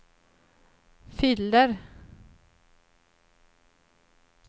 fyller